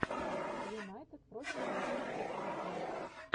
юнайтед против манчестер сити